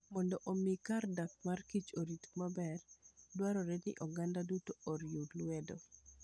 Mondo omi kar dak mar kich orit maber, dwarore ni oganda duto oriw lwedo.